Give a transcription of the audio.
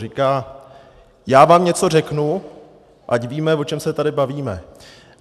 Říká - já vám něco řeknu, ať víme, o čem se tady bavíme.